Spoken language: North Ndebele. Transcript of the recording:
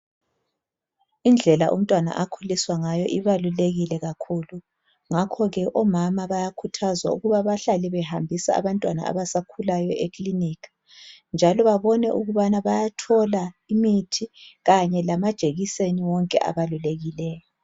Indlela umntwana akhuliswa ngayo ibalulekile kakhulu. Ngakho ke omama bayakhuthazwa ukuba bahlale behambise abantwana abasakhulayo ekiliniki, njalo babone ukuthi bayathola yonke imithi kanye lamajekiseni wonke abalulekileyo.